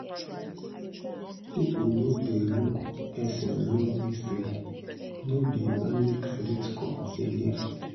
people now dey look person loan history no be only credit score again.